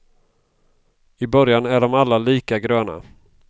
I början är de alla lika gröna.